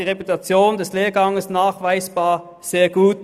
Die Reputation dieses Lehrgangs ist nachweislich sehr gut.